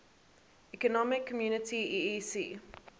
economic community eec